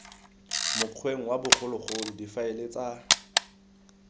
mokgweng wa bogologolo difaele tsa